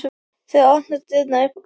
Þeir opna dyrnar upp á gátt.